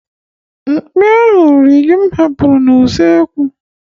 Mkpi ahụ riri ji m hapụrụ na kichin